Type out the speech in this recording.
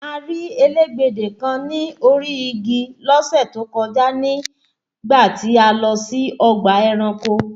A rí elégbedè kan ní orí igi lọ́sẹ̀ tó kọjá nígbà tí a lọ sí ọgbà ẹranko